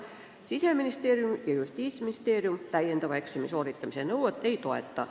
Siseministeerium ja Justiitsministeerium täiendava eksami nõuet ei toeta.